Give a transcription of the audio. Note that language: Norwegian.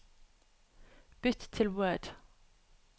Bytt til Word